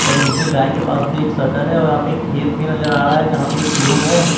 और नीचे गाय के पास भी एक शटर है और यहां पे एक खेत भी नजर आ रहा है जहां पे एक लोग हैं।